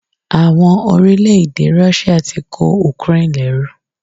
Àwọn orílẹ̀ èdè Russia ti kó Ukraine lẹ́rú.